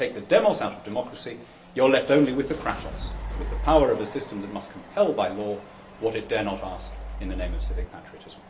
If you take the demos' out of democracy, you are left only with the kratos', with the power of a system that must compel by law what it dare not ask in the name of civic patriotism.